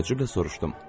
Təəccüblə soruşdum.